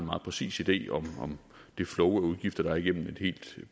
meget præcis idé om det flow af udgifter der er igennem et helt